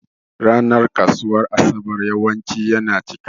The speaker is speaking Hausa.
Ranan kasuwan asaɓar yawanci yana ciƙa.